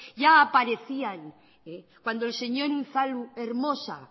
ya ha aparecían cuando el señor unzalu hermosa